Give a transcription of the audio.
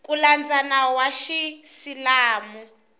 ku landza nawu wa xiisilamu